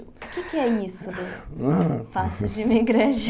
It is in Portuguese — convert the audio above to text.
O que é que é isso do passe de imigrante?